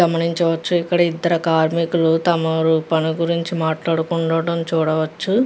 గమనించవచ్చు. ఇక్కడ ఇద్దరు కార్మికులు తమ పని గురించి మాట్లాడుకుండటం చూడవచ్చు.